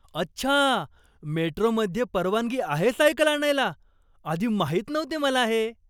अच्छा! मेट्रोमध्ये परवानगी आहे सायकल आणायला. आधी माहित नव्हते मला हे.